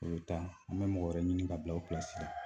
O bɛ taa an bɛ mɔgɔ wɛrɛ ɲini ka bila o la